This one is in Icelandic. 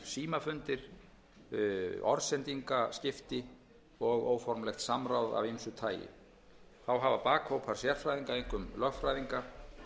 sjálfsögðu átt sér stað fjölmargir símafundir orðsendingaskipti og óformlegt samráð af ýmsu tagi þá hafa bakhópar sérfræðinga einkum lögfræðinga